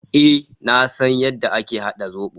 Eh, na san yadda ake hada zobo.